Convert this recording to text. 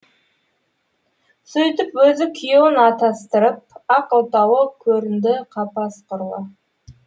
сөйтіп өзі күйеуін атастырып ақ отауы көрінді қапас құрлы